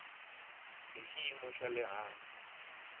hi xiyimo xa le hansi